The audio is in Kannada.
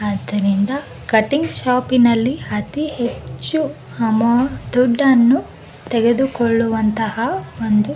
ಆದರಿಂದ ಕಟಿಂಗ್ ಶಾಪಿನಲ್ಲಿ ಅತಿಹೆಚ್ಚು ಅಮಾ ದುಡ್ಡನ್ನು ತೆಗೆದುಕೊಳ್ಳುವಂತಹ ಒಂದು --